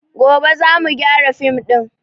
Gobe za mu gyara fim din